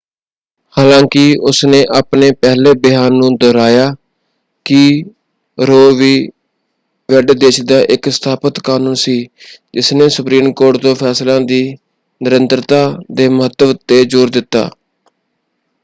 ਹਾਲਾਂਕਿ ਉਸਨੇ ਆਪਣੇ ਪਹਿਲੇ ਬਿਆਨ ਨੂੰ ਦੁਹਰਾਇਆ ਕਿ ਰੋਅ ਵੀ. ਵੇਡ ਦੇਸ਼ ਦਾ ਇੱਕ ਸਥਾਪਿਤ ਕਨੂੰਨ ਸੀ ਜਿਸਨੇ ਸੁਪਰੀਮ ਕੋਰਟ ਦੇ ਫੈਸਲਿਆਂ ਦੀ ਨਿਰੰਤਰਤਾ ਦੇ ਮਹੱਤਵ 'ਤੇ ਜੋਰ ਦਿੱਤਾ।